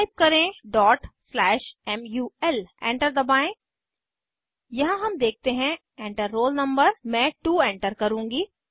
type करें mul enter दबाएं यहाँ हम देखते हैं Enter रोल no मैं 2 एंटर करुँगी